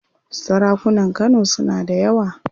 Sarakunan Kano suna da yawa.